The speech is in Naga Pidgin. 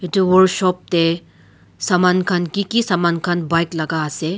etu workshop te saman khan kiki saman khan bike laga ase.